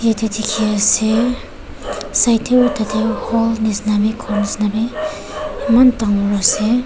ede dikhiase side de utade hall nishena b ghor nishena b eman dangor ase.